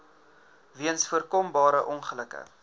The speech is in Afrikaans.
weens voorkombare ongelukke